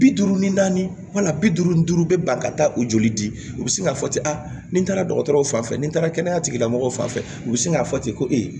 Bi duuru ni naani wal bi duuru ni duuru bɛ ban ka taa u joli di u bɛ sin k'a fɔ ten ni n taara dɔgɔtɔrɔw fan fɛ ni n taara kɛnɛya tigilamɔgɔw fan fɛ u bɛ sin k'a fɔ ten ko e ye